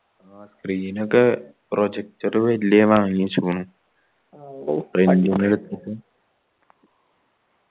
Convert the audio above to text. ആ screen ഒക്കെ projector വെല്യ വാങ്ങിവെച്ചിക്കുണു